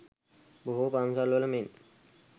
බොහෝ පන්සල් වල මෙන්